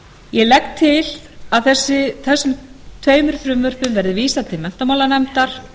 ég legg til að þessum tveim frumvörpum verði vísað til menntamálanefndar